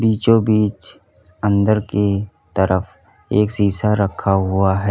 बीचों-बीच अंदर की तरफ एक शीशा रखा हुआ है।